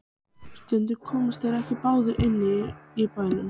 Og stundum komust þeir ekki báðir fyrir inni í bænum.